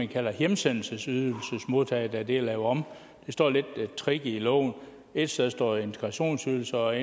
hedder hjemsendelsesydelsesmodtager da det er lavet om det står lidt tricky i loven et sted står der integrationsydelser og